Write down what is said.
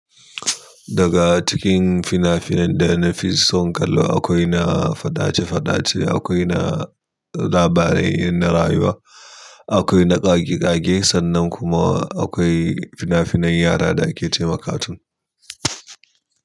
Daga cikin fina-finai da na fi son kallo akwai na faɗace-faɗace, akwai na labarai na rayuwa, akwai na ƙage-ƙage sannan kuma akwai fina-finan yara da ake ce ma katun.